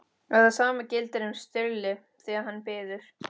Og það sama gildir um Sturlu, þegar hann biður